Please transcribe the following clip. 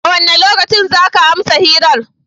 A wane lokaci za ka amsa hirar?